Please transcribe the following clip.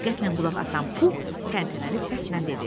diqqətlə qulaq asan Puh təntənəli səslə dedi.